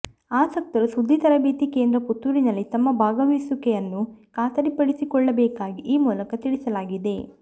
ಆಸಕ್ತರು ಸುದ್ದಿ ತರಬೇತಿ ಕೇಂದ್ರ ಪುತ್ತೂರಿನಲ್ಲಿ ತಮ್ಮ ಭಾಗವಹಿಸುವಿಕೆಯನ್ನು ಖಾತರಿಪಡಿಸಿಕೊಳ್ಳಬೇಕಾಗಿ ಈ ಮೂಲಕ ತಿಳಿಸಲಾಗಿದೆ